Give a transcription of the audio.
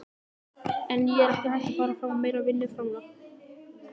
En er ekki hægt að fara fram á meira vinnuframlag?